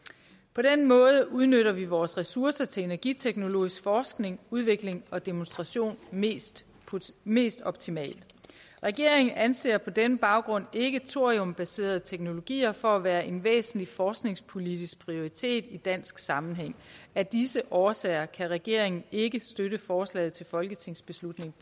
på den måde udnytter vi vores ressourcer til energiteknologisk forskning udvikling og demonstration mest mest optimalt regeringen anser på den baggrund ikke thoriumbaserede teknologier for at være en væsentlig forskningspolitisk prioritet i dansk sammenhæng at disse årsager kan regeringen ikke støtte forslag til folketingsbeslutning